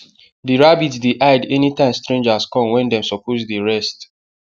the rabbit dey hide anytime strangers come wen dem suppose dey rest